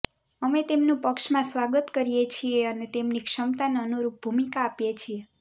અમે તેમનું પક્ષમાં સ્વાગત કરીએ છીએ અને તેમની ક્ષમતાને અનુરૂપ ભૂમિકા આપીએ છીએ